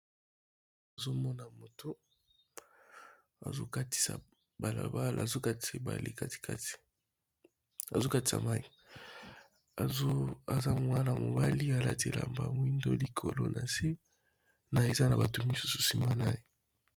Nazomona moto akatisi balabala azokatisa mais aza mwana mobali alati Elamba ya mwindo likolo na se na eza na bato misusu nsima na ye.